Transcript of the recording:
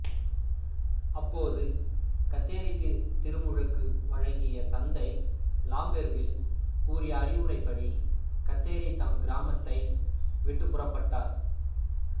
அப்போது கத்தேரிக்குத் திருமுழுக்கு வழங்கிய தந்தை லாம்பெர்வில் கூறிய அறிவுரைப்படி கத்தேரி தம் கிராமத்தை விட்டுப் புறப்பட்டார்